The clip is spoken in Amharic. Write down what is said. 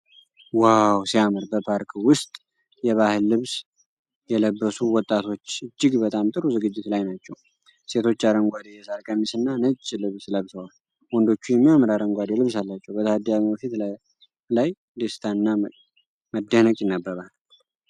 ዋው ሲያምር! በፓርክ ውስጥ የባህል ልብስ የለበሱ ወጣቶች እጅግ በጣም ጥሩ ዝግጅት ላይ ናቸው። ሴቶቹ አረንጓዴ የሳር ቀሚስና ነጭ ልብስ ለብሰዋል፤ ወንዶቹም የሚያምር አረንጓዴ ልብስ አላቸው። በታዳሚው ፊት ላይ ደስታ እና መደነቅ ይነበባል።